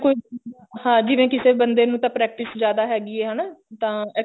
ਕੋਈ ਹਾਂ ਜਿਵੇਂ ਕਿਸੇ ਬੰਦੇ ਨੂੰ ਤਾਂ practice ਜਿਆਦਾ ਹੈਗੀ ਐ ਹਨਾ ਤਾਂ